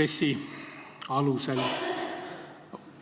RES-i alusel välja võetakse.